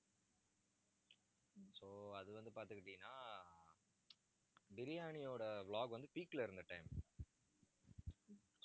so அது வந்து பாத்துக்கிட்டீன்னா biryani யோட vlog வந்து, peak ல இருந்த time